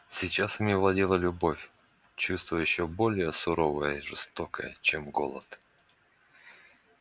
сейчас ими владела любовь чувство ещё более суровое и жестокое чем голод